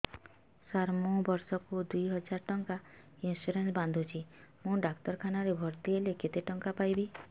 ସାର ମୁ ବର୍ଷ କୁ ଦୁଇ ହଜାର ଟଙ୍କା ଇନ୍ସୁରେନ୍ସ ବାନ୍ଧୁଛି ମୁ ଡାକ୍ତରଖାନା ରେ ଭର୍ତ୍ତିହେଲେ କେତେଟଙ୍କା ପାଇବି